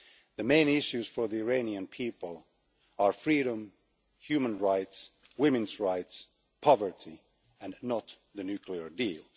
The main issues for the Iranian people are freedom, human rights, women's rights, poverty and not the nuclear deal.